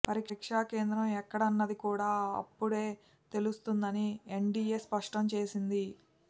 పరీక్షా కేంద్రం ఎక్కడన్నది కూడా అప్పుడే తెలుస్తుందని ఎన్టీఏ స్పష్టం చేసింది